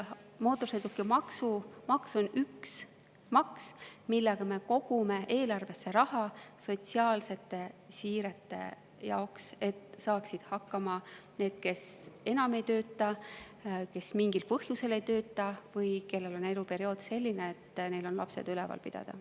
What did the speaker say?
Mootorsõidukimaks on üks maks, millega me kogume eelarvesse raha sotsiaalsete siirete jaoks, et saaksid hakkama need, kes enam ei tööta, kes mingil põhjusel ei tööta või kellel on eluperiood selline, et neil on lapsed üleval pidada.